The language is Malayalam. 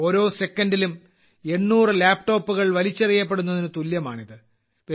ഓരോ സെക്കൻഡിലും 800 ലാപ്ടോപ്പുകൾ വലിച്ചെറിയപ്പെടുന്നതിനു തുല്യമാണിത്